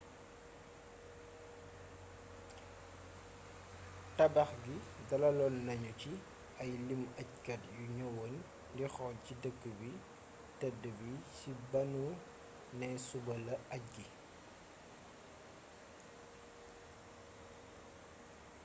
tabax gi dalaloon nanu ci ay limu ajkat yu ñëwoon di xool ci dëkk bu tedd bi ci banu nee suba la aj gi